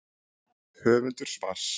Höfundur svars.